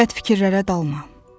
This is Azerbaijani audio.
Bəd fikirlərə dalma.